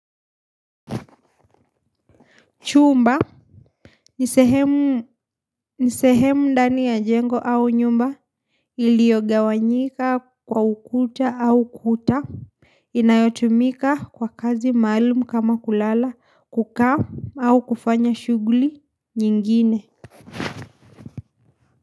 Chumba, ni sehemu ndani ya jengo au nyumba iliogawanyika kwa ukuta au kuta, inayotumika kwa kazi maalumu kama kulala kukaa au kufanya shughuli nyingine.